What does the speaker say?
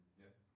Ja